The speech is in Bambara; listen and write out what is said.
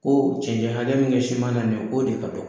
Ko ji ɲɛnajɛ min bɛ siman na nin ye, k'o de ka dɔgɔ